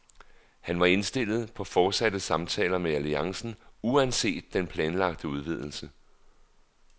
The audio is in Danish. Han var indstillet på fortsatte samtaler med alliancen uanset den planlagte udvidelse.